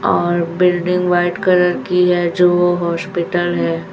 और building white colour की है जो वो हॉस्पिटल है।